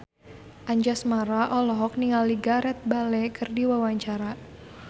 Anjasmara olohok ningali Gareth Bale keur diwawancara